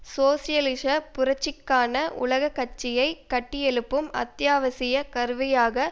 சோசியலிச புரட்சிக்கான உலக கட்சியை கட்டியெழுப்பும் அத்தியாவசிய கருவியாக